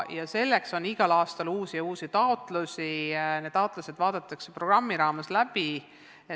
Selleks on igal aastal uusi ja uusi taotlusi, mis vaadatakse programmi raames läbi.